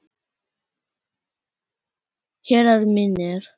Herrar mínir.